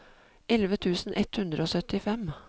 elleve tusen ett hundre og syttifem